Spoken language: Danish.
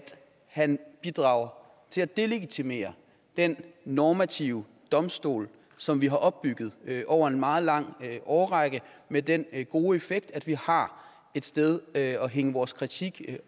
han bidrager til at delegitimere den normative domstol som vi har opbygget over en meget lang årrække med den gode effekt at vi har noget at hænge vores kritik